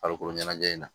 Farikolo ɲɛnajɛ in na